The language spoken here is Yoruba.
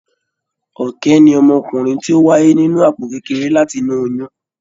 Ọ̀kẹ́ ni ọmọkùnrin ti o wáyé nínú àpò kékeré láti inú oyún.